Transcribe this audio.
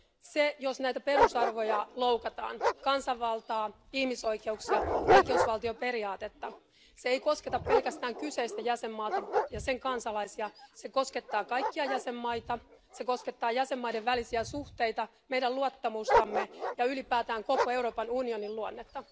Se, että näitä perusarvoja eli kansanvaltaa, ihmisoikeuksia ja oikeusvaltioperiaatetta loukataan, ei kosketa pelkästään kyseistä jäsenmaata ja sen kansalaisia vaan se koskettaa kaikkia jäsenmaita, se koskettaa jäsenmaiden välisiä suhteita, meidän luottamustamme ja ylipäätään koko Euroopan unionin luonnetta.